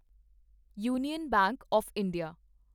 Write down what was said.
union bank of India